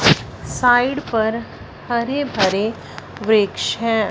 Side पर हरे भरे वृक्ष हैं।